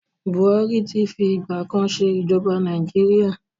Buhari ti fi ìgbà kan ṣe ij̀ọba Nàìjíríà.